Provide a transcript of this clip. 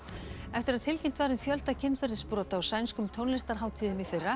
eftir að tilkynnt var um fjölda kynferðisbrota á sænskum tónlistarhátíðum í fyrra